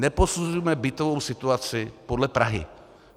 Neposuzujme bytovou situaci podle Prahy.